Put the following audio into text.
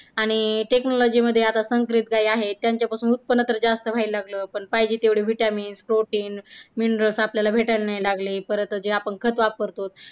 आणि technology मध्ये संग्रहित जे आहे त्यांच्यापासून उत्पन्नातर जास्त व्हायला लागलं पण पाहिजे तेवढे vitamin protein mineral आपल्याला भेटायला नाही लागले परत आपण जे खत वापरतो.